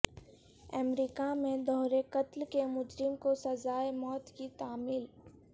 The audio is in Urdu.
امریکہ میں دوہرے قتل کے مجرم کو سزائے موت کی تعمیل